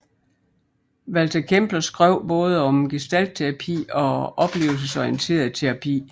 Walter Kempler skrev både om gestaltterapi og oplevelsesorienteret terapi